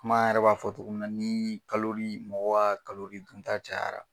an yɛrɛ b'a fɔ cogo min na, ni mɔgɔ ka dun ta cayara